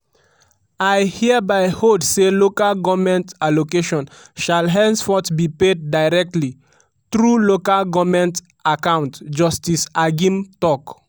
"i hereby hold say local goment allocations shall henceforth be paid directly through local goment accounts" justice agim tok.